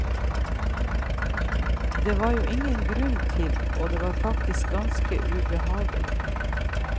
Det var det jo ingen grunn til, og det var faktisk ganske ubehagelig.